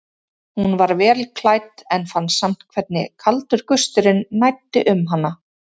Hún var vel klædd en fann samt hvernig kaldur gusturinn næddi um hana.